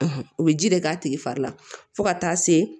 o bɛ ji de k'a tigi fari la fo ka taa se